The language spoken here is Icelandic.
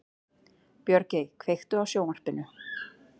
Björgey, kveiktu á sjónvarpinu.